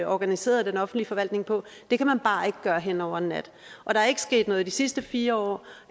organiseret den offentlige forvaltning på det kan man bare ikke gøre hen over en nat og der er ikke sket noget i de sidste fire år